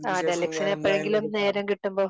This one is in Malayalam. ദലക്ഷി ന് എപ്പോഴെങ്കിലും നേരം കിട്ടുമ്പോ